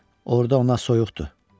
Orda ona soyuqdur.